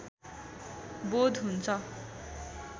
बोध हुन्छ